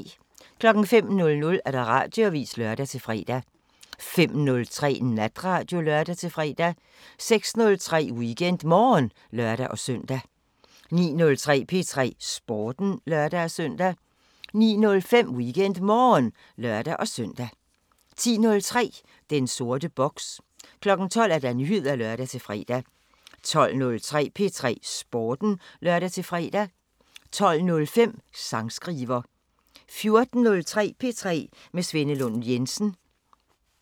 05:00: Radioavisen (lør-fre) 05:03: Natradio (lør-fre) 06:03: WeekendMorgen (lør-søn) 09:03: P3 Sporten (lør-søn) 09:05: WeekendMorgen (lør-søn) 10:03: Den sorte boks 12:00: Nyheder (lør-fre) 12:03: P3 Sporten (lør-fre) 12:05: Sangskriver 14:03: P3 med Svenne Lund Jensen